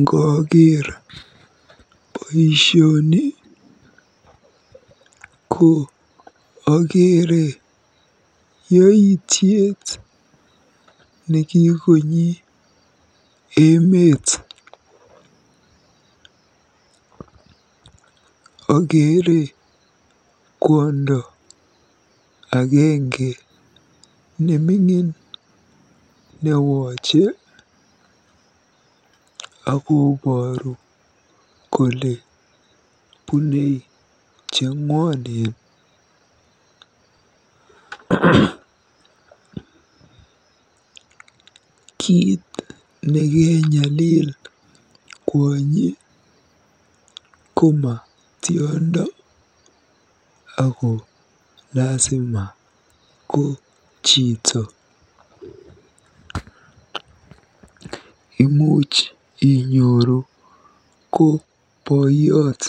Ngooker boisioni ko akeere yaityet nekikonyi emeet. Akeere kwondo agenge neming'in newoche akobooru kole bune cheng'wonwn. Kiit nekenyalil kwonyi koma tiondo ako lasima ko chito. Imuuch inyoru ko boiyot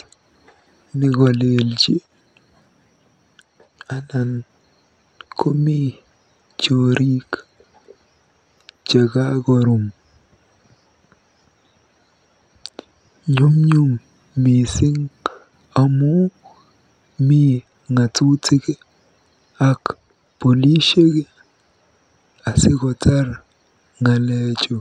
nekalelji anan komi joriik chekakorum. Nyumnyum mising amu mi ng'atutik ak polishek asikotar ng'alechu.